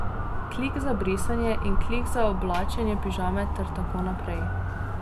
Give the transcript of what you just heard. Klik za brisanje in klik za oblačenje pižame ter tako naprej.